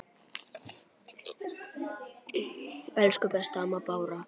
Elsku besta amma Bára.